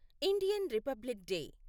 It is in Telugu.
Indian republic day